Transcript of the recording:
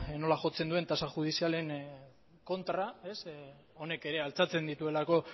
nola jotzen duen tasa judizialen kontra ez honek ere altxatzen dituelako